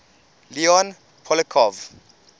leon poliakov